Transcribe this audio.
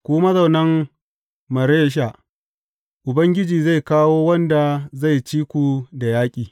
Ku mazaunan Maresha Ubangiji zai kawo wanda zai ci ku da yaƙi.